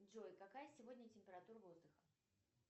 джой какая сегодня температура воздуха